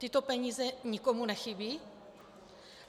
Tyto peníze nikomu nechybí?